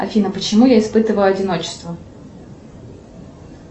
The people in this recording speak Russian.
афина почему я испытываю одиночество